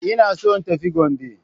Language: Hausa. Ina so in tafi Gombe.